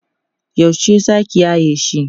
yaushe zaki yaye shi?